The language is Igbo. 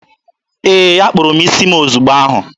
Ee, akpụrụ m isi m ozigbo ahụ.